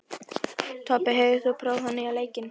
Tobbi, hefur þú prófað nýja leikinn?